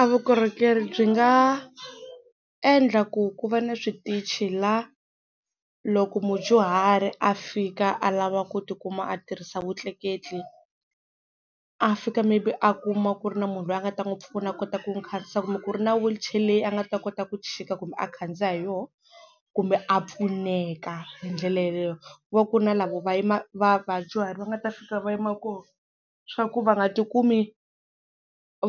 A vukorhokeri byi nga endla ku ku va na switichi la loko mudyuhari a fika a lava ku ti kuma a tirhisa vutleketli a fika maybe a kuma ku ri na munhu loyi a nga ta n'wi pfuna a kota ku n'wi khandziyisa kumbe ku ri na wheelchair leyi a nga ta kota ku chika kumbe a khandziya hi yona kumbe a pfuneka hi ndlela yeleyo ku va ku na lavo va va vadyuharhi va nga ta fika va yima kona swa ku va nga tikumi